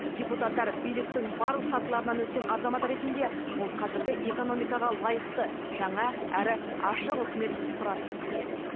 депутаттар биліктің барлық сатыларынан өткен азамат ретінде ол қазіргі экономикаға лайықты жаңа әрі ашық үкімет құрады деп сенеді